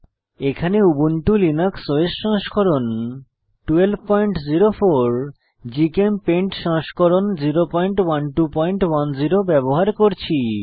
এখানে Ubuntu Linux OS সংস্করণ 1204 GChemPaint সংস্করণ 01210 ব্যবহার করছি